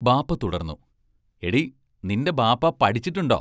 ബാപ്പാ തുടർന്നു: എടീ നിന്റെ ബാപ്പാ പഠിച്ചിട്ടുണ്ടോ?